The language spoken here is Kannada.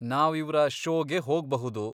ನಾವ್ ಇವ್ರ ಷೋಗೆ ಹೋಗ್ಬಹುದು.